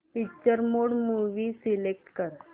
picture mode movie select कर